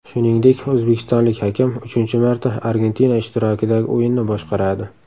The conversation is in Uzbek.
Shuningdek, o‘zbekistonlik hakam uchinchi marta Argentina ishtirokidagi o‘yinni boshqaradi.